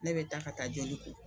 Ne be taa ka taa joli ko.